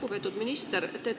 Lugupeetud minister!